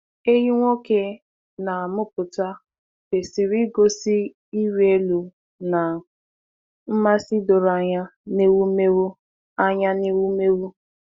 Ehi nwoke na-amụpụta kwesịrị igosi ịrị elu na nmasị doro anya n’ewumewụ. anya n’ewumewụ.